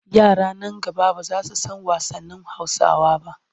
Yara nan gaba ba za su san wasannin Hausawa ba.